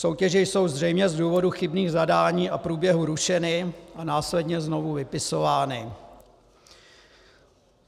Soutěže jsou zřejmě z důvodu chybných zadání a průběhu rušeny a následně znovu vypisovány.